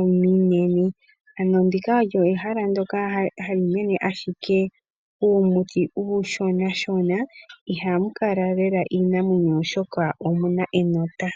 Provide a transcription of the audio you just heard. ominene. Ano ndika olyo ehala ndoka hali nena a shike uumuti uu shonashona, iha mu kala lela iinamwenyo oshoka omuna enota.